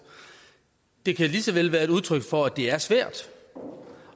det kan lige så vel være et udtryk for at det er svært